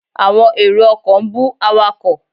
Àwọn èrò ọkọ̀ ń bú awakọ̀.